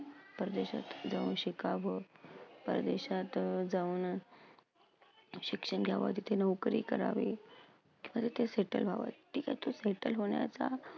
परदेशात जाऊन शिकावं, प्रदेशात जाऊन शिक्षण घ्यावं, तिथे नोकरी करावी, खरं ते settle व्हावं ठिके तू settle होण्याचा